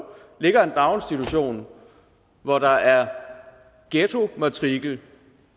ligger en daginstitution hvor der er ghettomatrikel